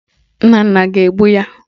Nnanna ga-egbu ya